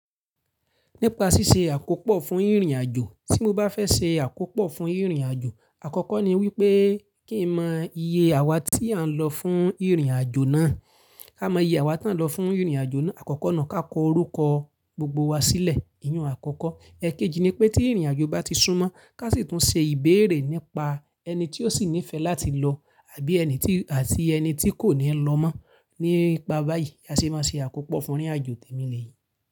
Nípa ṣíṣe àkópọ̀ fún ìrìnàjò, tí mo bá fẹ́ ṣe àkópọ̀ fún ìrìnàjò, àkọ́kọ́ ni wípé kí n mọ iye àwa tí à ń lọ fún ìrìnàjò náà, ká mọ iye àwa tí à ń lọ fún ìrìnàjò náà àkọ́kọ́ nu. Ká kọ orúkọ gbogbo wa sílẹ̀, ìyin-un àkọ́kọ́. Ẹ̀keji ni pé tí ìrìnàjò bá ti súnmọ́, ká sì tún ṣe ìbéèrè nípa ẹni tí ó sì nífẹ̀ẹ́ láti lọ àbí ẹni tí, àti ẹni tí kò ní lọ mọ́. Nípa báyìí, bi a ṣé máa ṣe àkópọ̀ fún ìrìnàjò tèmi lèyí.